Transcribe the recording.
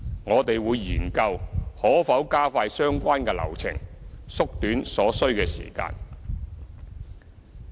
我們會研究可否加快相關流程，縮短所需的時間。